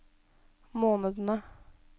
månedene